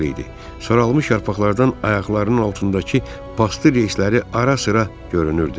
Saralmış yarpaqlardan ayaqlarının altındakı bastır reysləri ara-sıra görünürdü.